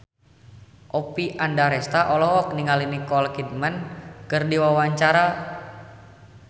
Oppie Andaresta olohok ningali Nicole Kidman keur diwawancara